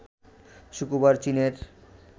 শুক্রবার চীনের